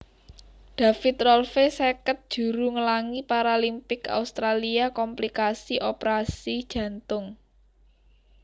David Rolfe seket juru nglangi Paralimpik Australia komplikasi operasi jantung